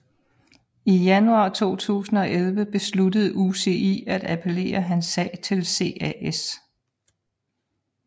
I januar 2011 besluttede UCI at appellere hans sag til CAS